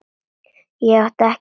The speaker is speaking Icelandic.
Ég átti ekki meira eftir.